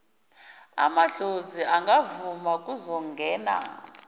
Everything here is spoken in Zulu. amadlozi angavuma kuzongena